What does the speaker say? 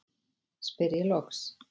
spyr ég loks.